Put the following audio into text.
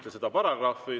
Te küsite paragrahvi.